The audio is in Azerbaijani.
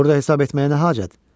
Burda hesab etməyə nə hacət?